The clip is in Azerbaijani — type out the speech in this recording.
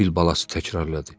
fil balası təkrarladı.